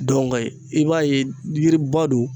i b'a ye yiriba don.